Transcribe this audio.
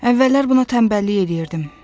Əvvəllər buna tənbəllik eləyirdim.